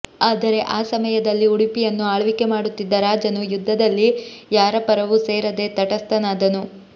ಆದರೆ ಆ ಸಮಯದಲ್ಲಿ ಉಡುಪಿಯನ್ನು ಆಳ್ವಿಕೆ ಮಾಡುತ್ತಿದ್ದ ರಾಜನು ಯುದ್ಧದಲ್ಲಿ ಯಾರಪರವೂ ಸೇರದೆ ತಟಸ್ಥನಾದನು